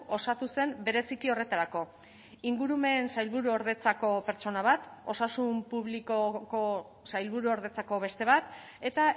osatu zen bereziki horretarako ingurumen sailburuordetzako pertsona bat osasun publikoko sailburuordetzako beste bat eta